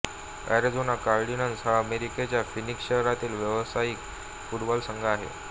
Arizona Cardinals हा अमेरिकेच्या Phoenix शहरातील व्यावसायिक फुटबॉल संघ आहे